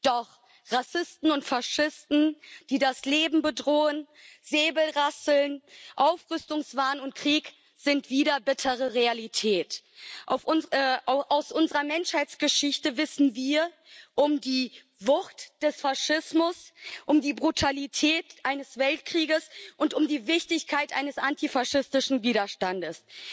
Doch Rassisten und Faschisten, die das Leben bedrohen, Säbelrasseln, Aufrüstungswahn und Krieg sind wieder bittere Realität. Aus unserer Menschheitsgeschichte wissen wir um die Wucht des Faschismus, um die Brutalität eines Weltkrieges und um die Wichtigkeit eines antifaschistischen Widerstandes.